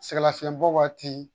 Sɛgɛnlafiɲɛbɔ waati